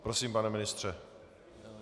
Prosím, pane ministře.